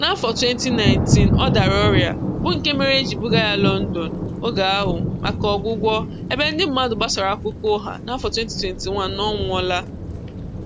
N'afọ 2019, ọ dara ọrịa, bụ nke mere e ji buga ya Lọndọn oge ahụ maka ọgwụgwọ, ebe ndị mmadụ gbasara akụkọ ụgha n'afọ 2021 na ọ nwụọla.